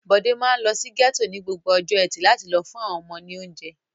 Bọ̀dé máa ń lọ sí gẹ́tò ní gbogbo ọjọ́ ẹtì láti lọ fún àwọn ọmọ ní oúnjẹ.